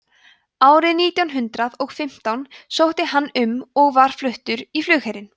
árið nítján hundrað og fimmtán sótti hann um og var fluttur í flugherinn